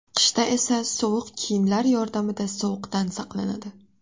Qishda esa issiq kiyimlar yordamida sovuqdan saqlanadi.